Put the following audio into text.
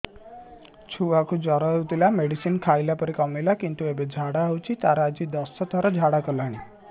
ଛୁଆ କୁ ଜର ହଉଥିଲା ମେଡିସିନ ଖାଇଲା ପରେ କମିଲା କିନ୍ତୁ ଏବେ ଝାଡା ହଉଚି ତାର ଆଜି ଦଶ ଥର ଝାଡା କଲାଣି